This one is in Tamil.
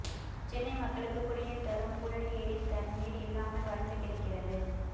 சென்னை மக்களுக்கு குடிநீர் தரும் புழல் ஏரி தண்ணீர் இல்லாமல் வறண்டு கிடக்கிறது